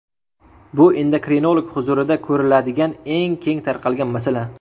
Bu endokrinolog huzurida ko‘riladigan eng keng tarqalgan masala.